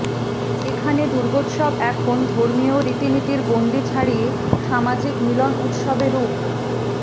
এখানে দুর্গোৎসব এখন ধর্মীয় রীতিনীতির গণ্ডি ছাড়িয়ে সামাজিক মিলন উৎসবে রূপ